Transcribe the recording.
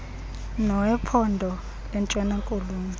nowephondo lentshons akoloni